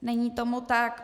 Není tomu tak.